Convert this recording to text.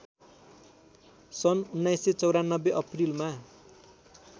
सन् १९९४ अप्रिलमा